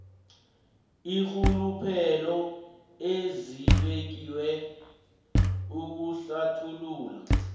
iinrhuluphelo ezibekiwe ukuhlathulula